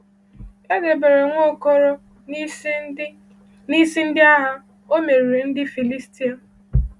E debere Nwaokolo n’isi ndị n’isi ndị agha, o meriri ndị Filistia.